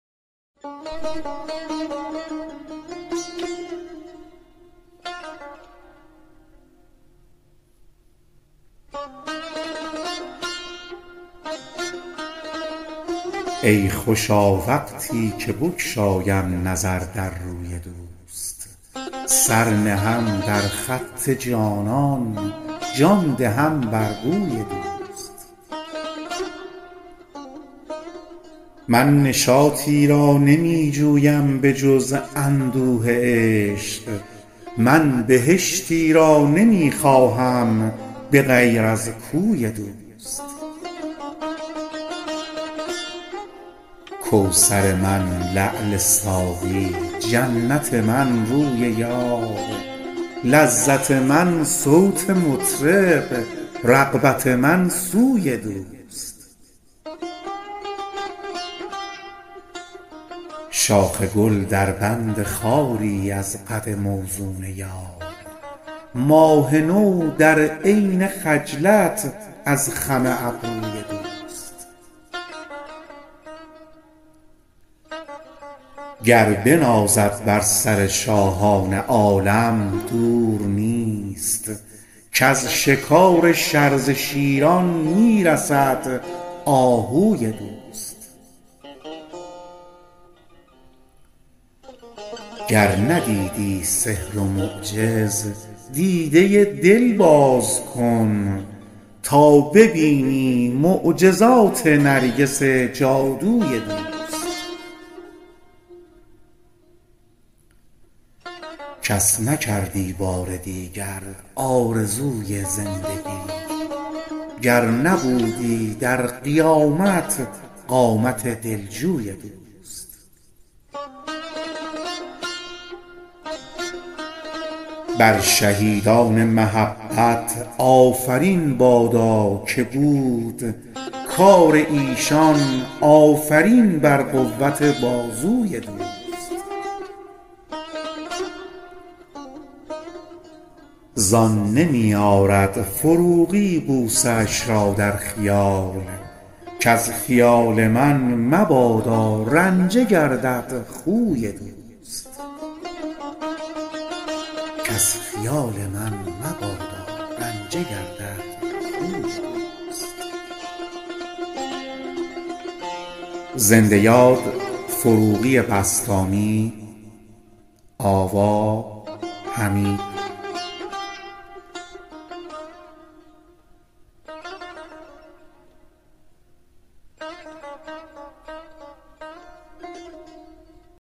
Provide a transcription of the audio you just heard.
ای خوشا وقتی که بگشایم نظر در روی دوست سر نهم در خط جانان جان دهم بر بوی دوست من نشاطی را نمی جویم به جز اندوه عشق من بهشتی را نمی خواهم به غیر از کوی دوست کوثر من لعل ساقی جنت من روی یار لذت من صوت مطرب رغبت من سوی دوست شاخ گل در بند خواری از قد موزون یار ماه نو در عین خجلت از خم ابروی دوست گر بنازد بر سر شاهان عالم دور نیست کز شکار شرزه شیران می رسد آهوی دوست گر ندیدی سحر و معجز دیده دل باز کن تا ببینی معجزات نرگس جادوی دوست کس نکردی بار دیگر آرزوی زندگی گر نبودی در قیامت قامت دل جوی دوست بر شهیدان محبت آفرین بادا که بود کار ایشان آفرین بر قوت بازوی دوست زان نمی آرد فروغی بوسه اش را در خیال کز خیال من مبادا رنجه گردد خوی دوست